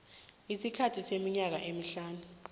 isikhathi seminyaka emihlanu